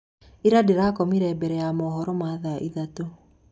Ira ndĩrakomire mbere ya mohoro ma thaa ithatũ.